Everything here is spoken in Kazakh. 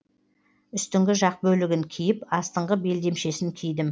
үстіңгі жақ бөлігін киіп астыңғы белдемшесін кидім